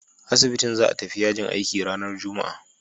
Asibitin za a tafi yajin aiki ranar Juma'a.